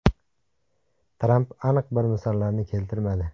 Tramp aniq bir misollarni keltirmadi.